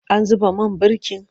An zuba man birkin?